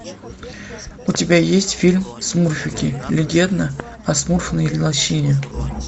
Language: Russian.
у тебя есть фильм смурфики легенда о смурфной лощине